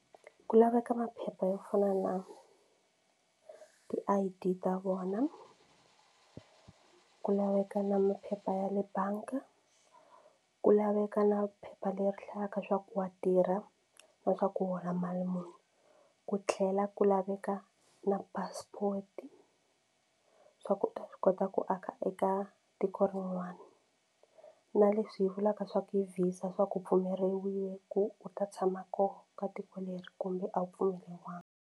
Ku laveka maphepha yo fana na ti-I_D ta vona ku laveka na maphepha ya le bangi ku laveka na phepha leri hlayaka swa ku wa tirha na swa ku u hola mali muni ku tlhela ku laveka na passport swa ku u ta swi kota ku aka eka tiko rin'wana na leswi vulaka swa ku visa swa ku pfumeriwile ku u ta tshama koho ka tiko leri kumbe a wu pfumeleriwangi.